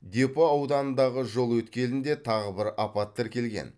депо ауданындағы жол өткелінде тағы бір апат тіркелген